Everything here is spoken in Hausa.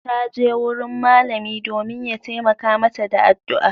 Ta je wurin malami domin ya taimaka mata da addu'a.